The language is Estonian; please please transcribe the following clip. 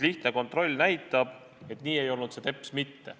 Lihtne kontroll näitab, et nii ei olnud see teps mitte.